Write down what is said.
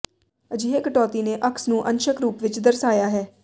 ਅਜਿਹੇ ਕਟੌਤੀ ਨੇ ਅਕਸ ਨੂੰ ਅੰਸ਼ਕ ਰੂਪ ਵਿਚ ਦਰਸਾਇਆ ਹੈ